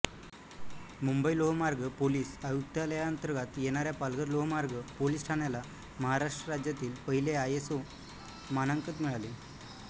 मुंबई लोहमार्ग पोलिस आयुक्तालयांतर्गत येणाऱ्या पालघर लोहमार्ग पोलीस ठाण्याला महाराष्ट्र राज्यातील पहिले आयएसओ मानाकंन मिळाले